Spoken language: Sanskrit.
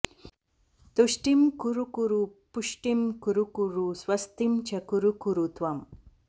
तुष्टिं कुरु कुरु पुष्टिं कुरु कुरु स्वस्तिं च कुरु कुरु त्वम्